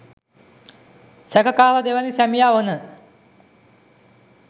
සැකකාර දෙවැනි සැමියා වන